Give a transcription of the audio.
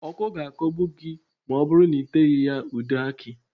Ọ́kọ́ ga-akọgbu gị ma ọ bụrụ na ị teghị ya ude akị